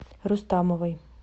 рустамовой